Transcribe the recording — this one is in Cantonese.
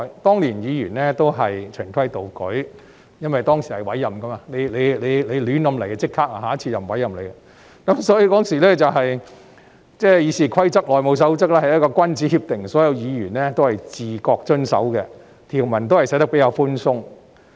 當年議員均是循規蹈矩，因為當時是委任制度，如議員胡搞，下次便不會再獲委任，所以，當時的《議事規則》和《內務守則》是君子協定，所有議員都自覺地遵守，條文也寫得比較寬鬆。